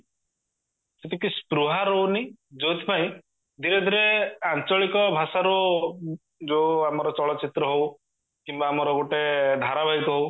ସେତିକି ସ୍ତ୍ରୋହା ରାହୁଣୀ ଯୋଉଥିପାଇଁ ଧୀରେ ଧୀରେ ଆଞ୍ଚଳିକ ଭାଷାର ଯୋଉ ଆମର ଚଳଚିତ୍ର ହୋଉ କିମ୍ବା ଆମର ଗୋଟେ ଧାରା ବାହିକ ହୋଉ